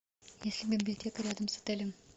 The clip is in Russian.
есть ли библиотека рядом с отелем